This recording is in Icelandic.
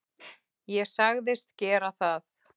Ég sagðist gera það.